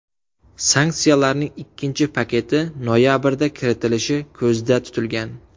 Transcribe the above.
Sanksiyalarning ikkinchi paketi noyabrda kiritilishi ko‘zda tutilgan.